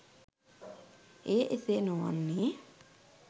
එය එසේ නොවන්නේ